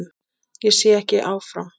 Ég sé ekki áfram.